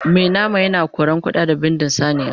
Mai nama yana koran ƙuda da bindin saniya